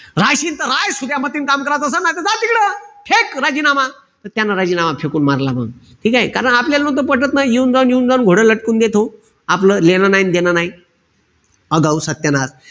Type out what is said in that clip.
रायशीन त ह्राय. सुध्या मतीनं काम करायचं असन नाई त जाय तिकडं. फेक राजीनामा. त्यानं राजीनामा फेकून मारला. ठीकेय? कारण आपल्याल त पटत नाई. येऊन-जाऊन, येऊन-जाऊन घोड लटकून देतो. आपलं लेणं नाई अन देणं नाई. आगाऊ, सत्यानाश.